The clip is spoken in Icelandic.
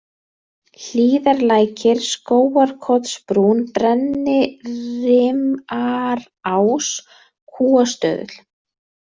Hlíðarlækir, Skógarkotsbrún, Brennirimarás, Kúastöðull